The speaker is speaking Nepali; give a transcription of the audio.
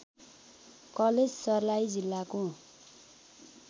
कलेज सर्लाही जिल्लाको